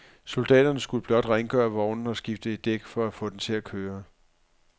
Soldaterne skulle blot rengøre vognen og skifte et dæk for at få den til at køre.